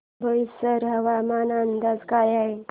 बोईसर हवामान अंदाज काय आहे